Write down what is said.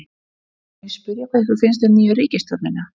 Sunna: Má ég spyrja hvað ykkur finnst um nýju ríkisstjórnina?